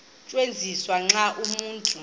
tyenziswa xa umntu